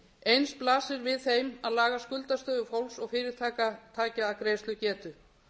eins blasir við þeim að laga skuldastöðu fólks og fyrirtækja að greiðslugetu